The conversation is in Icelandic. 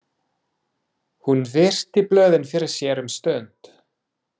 Hún virti blöðin fyrir sér um stund.